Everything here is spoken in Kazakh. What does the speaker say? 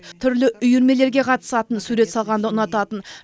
түрлі үйірмелерге қатысатын сурет салғанды ұнататын